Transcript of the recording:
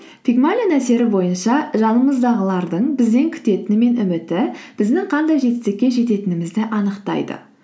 пигмалион әсері бойынша жанымыздағылырдың бізден күтетіні мен үміті біздің қандай жетістікке жететінімізді анықтайды